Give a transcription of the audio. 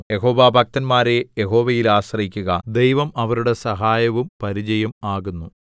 യഹോവാഭക്തന്മാരേ യഹോവയിൽ ആശ്രയിക്കുക ദൈവം അവരുടെ സഹായവും പരിചയും ആകുന്നു